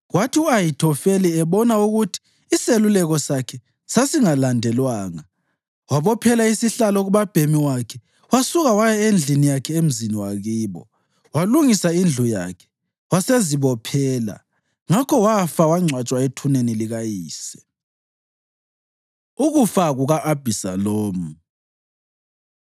Kwathi u-Ahithofeli ebona ukuthi iseluleko sakhe sasingalandelwanga, wabophela isihlalo kubabhemi wakhe wasuka waya endlini yakhe emzini wakibo. Walungisa indlu yakhe, wasezibophela. Ngakho wafa wangcwatshwa ethuneni likayise. Ukufa Kuka-Abhisalomu